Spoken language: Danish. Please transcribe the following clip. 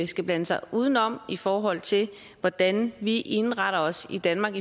skal blande sig udenom i forhold til hvordan vi indretter os i danmark